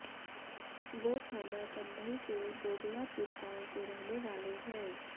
वो थाना कंधई के गोगलापुर गांव के रहने वाले हैं